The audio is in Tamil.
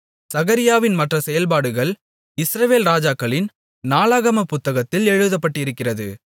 சகரியாவின் மற்ற செயல்பாடுகள் இஸ்ரவேல் ராஜாக்களின் நாளாகமப் புத்தகத்தில் எழுதப்பட்டிருக்கிறது